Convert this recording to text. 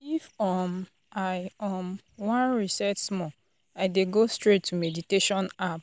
if um i um wan reset small i dey go straight to meditation app.